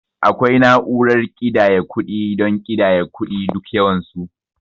Akwai na'urar kiɗaya kuɗi don ƙidaya kuɗi duk yawan su.